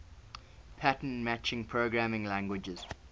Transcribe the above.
pattern matching programming languages